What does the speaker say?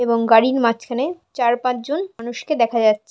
এবং গাড়ির মাঝখানে চার পাঁচ জন মানুষকে দেখা যাচ্--